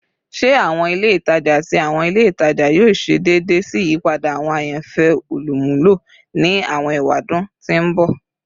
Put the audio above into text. Ṣe awọn ile itaja ati awọn ile itaja yoo ṣe deede si iyipada awọn ayanfẹ olumulo ni awọn ewadun to n bọ?